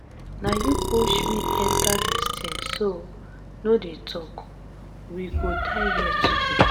na you push me enter dis thing so no dey talk. we go die here together.